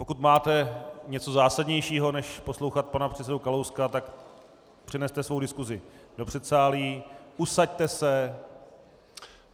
Pokud máte něco zásadnějšího než poslouchat pana předsedu Kalouska, tak přeneste svou diskusi do předsálí, usaďte se.